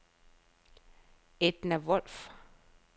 Edna Wolf